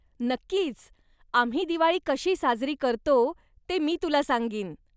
नक्कीच, आम्ही दिवाळी कशी साजरी करतो ते मी तुला सांगीन.